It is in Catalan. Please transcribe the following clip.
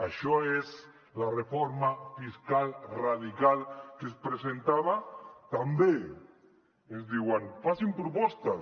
això és la reforma fiscal radical que es presentava també ens diuen facin propostes